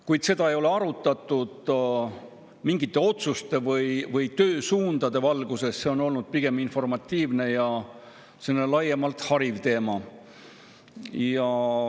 Kuid seda ei ole arutatud mingite otsuste või töösuundade valguses, see on olnud pigem informatiivne ja laiemalt hariv teema.